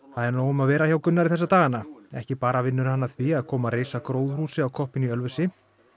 er nóg um að vera hjá Gunnari þessa dagana ekki bara vinnur hann að því að koma á koppinn í Ölfusi